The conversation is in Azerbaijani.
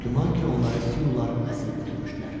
Güman ki, onları Siular əsir götürmüşdülər.